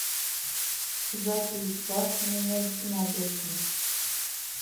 запись башня на набережной